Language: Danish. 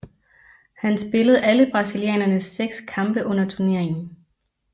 Han spillede alle brasilianernes seks kampe under turneringen